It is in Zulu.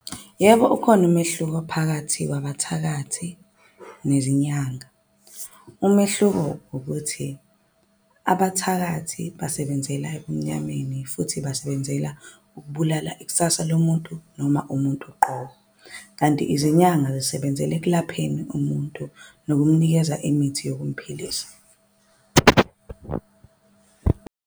Yebo, ukhona umehluko phakathi kwabathakathi nezinyanga. Umehluko ukuthi abathakathi basebenzela ebumnyameni. Futhi basebenzela ukubulala ikusasa lomuntu noma umuntu uqobo. Kanti izinyanga zisebenzela ekulapheni umuntu nokumnikeza imithi yokumphilisa.